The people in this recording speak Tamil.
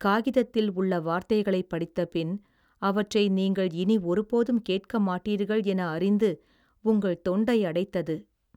காகிதத்தில் உள்ள வார்த்தைகளைப் படித்தபின், அவற்றை நீங்கள் இனி ஒருபோதும் கேட்க மாட்டீர்கள் என அறிந்து உங்கள் தொண்டை அடைத்தது